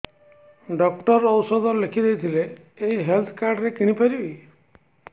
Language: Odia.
ଡକ୍ଟର ଔଷଧ ଲେଖିଦେଇଥିଲେ ଏଇ ହେଲ୍ଥ କାର୍ଡ ରେ କିଣିପାରିବି